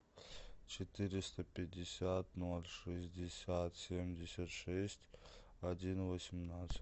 четыреста пятьдесят ноль шестьдесят семьдесят шесть один восемнадцать